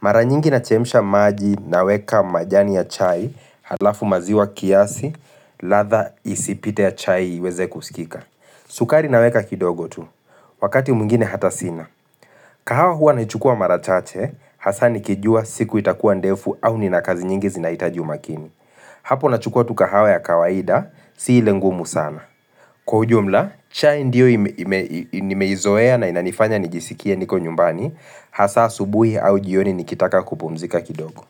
Mara nyingi nachemsha maji naweka majani ya chai, halafu maziwa kiasi ladhaa isipite ya chai iweze kusikika. Sukari naweka kidogo tu, wakati mwngine hata sina. Kahawa hua naichukua mara chache, hasa nikijua siku itakuwa ndefu au nina kazi nyingi zinahitaji umakini. Hapo nachukua tu kahawa ya kawaida, si ile ngumu sana. Kwa ujumla, cha ndiyo nimeizoea na inanifanya nijisikie niko nyumbani, hasa asubuhi au jioni nikitaka kupumzika kidogo.